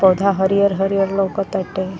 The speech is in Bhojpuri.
पौधा हरियर हरियर लउकतआटे।